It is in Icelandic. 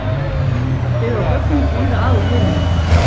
Hún er byggð á gögnum víða að úr heiminum.